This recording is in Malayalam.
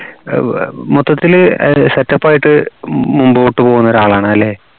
അഹ് മൊത്തത്തിൽ setup ആയിട്ട് മുമ്പോട്ട് പോകുന്ന ഒരാളാണ് അല്ലേ